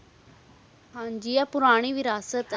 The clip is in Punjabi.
ਹਨ ਜੀ ਇਹ ਪੂਰਾਨੀ ਵਿਰਾਸਤ ਹੈ